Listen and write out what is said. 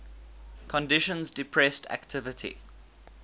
conditions depressed activity